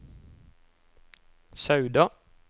Sauda